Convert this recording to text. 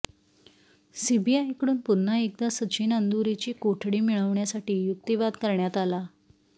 सीबीआयकडून पुन्हा एकदा सचिन अंदुरेची कोठडी मिळवण्यासाठी युक्तिवाद करण्यात आला